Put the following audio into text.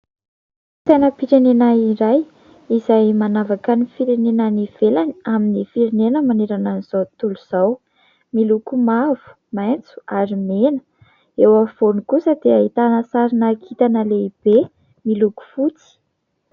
Sainam-pirenena iray, izay manavaka ny firenena any ivelany amin'ny firenena manerana an'izao tontolo izao. Miloko mavo, maitso ary mena ; eo afovoany kosa dia ahitana sarina kintana lehibe miloko fotsy.